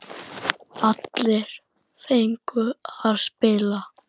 Allir fengu að spila.